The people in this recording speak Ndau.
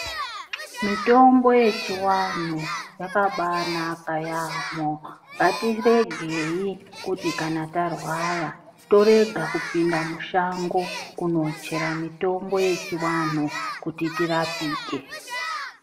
Mitombo yechiwanhu, yakabanaka yamho, ngatiregeyi kuti kana tarwara torega kupinda mushango kunochera mitombo yechiwanhu kuti tirapike.